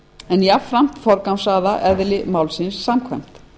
en jafnframt forgangsraða eðli málsins samkvæmt